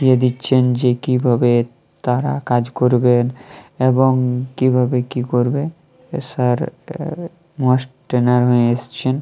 কে দিচ্ছেন যে কিভাবে তারা কাজ করবেন এবং কিভাবে কি করবে। স্যার মাস্ট ট্রেইনার হয়ে এসেছেন।